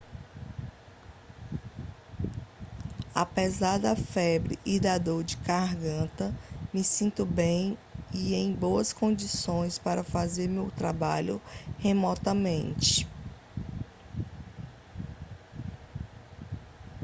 apesar da febre e da dor de garganta me sinto bem e em boas condições para fazer o meu trabalho remotamente